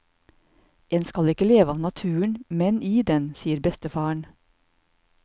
En skal ikke leve av naturen, men i den, sier bestefaren.